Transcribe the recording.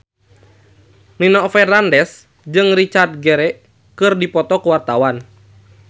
Nino Fernandez jeung Richard Gere keur dipoto ku wartawan